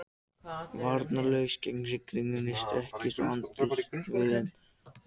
Varnarlaus gegn rigningunni, strekkist á andlitsvöðvunum, pírir augun og ber hönd fyrir höfuð.